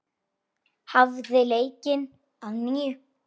Hafið leikinn að nýju.